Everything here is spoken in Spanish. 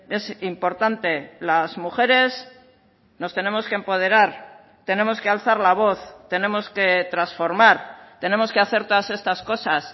es importante las mujeres nos tenemos que empoderar tenemos que alzar la voz tenemos que transformar tenemos que hacer todas estas cosas